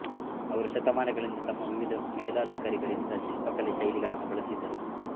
ಅವರು ಶತಮಾನಗಳಿಂದ ತಮ್ಮ ವಿವಿಧ ಮೇಲಧಿಕಾರಿಗಳಿಂದ ಶಿಲ್ಪಕಲೆ ಶೈಲಿಗಳನ್ನು ಬಳಸಿದರು